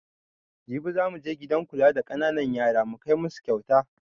Jibi zamu je gidan kula da ƙananan yara mu kai masu kauta